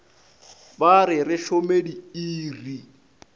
ba re re šome diiri